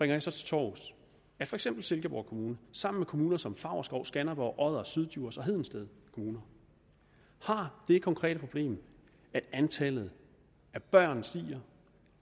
det så til torvs at for eksempel silkeborg kommune sammen med kommuner som favrskov skanderborg odder syddjurs og hedensted kommuner har det konkrete problem at antallet af børn stiger